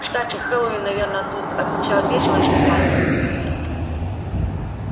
кстати хэллоуин наверное тут отмечают весело и с размахом